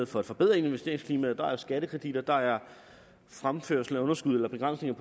for at forbedre investeringsklimaet der er skattekredit og der er fremførsel af underskud eller begrænsninger